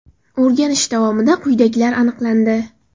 O‘rganish davomida quyidagilar aniqlandi.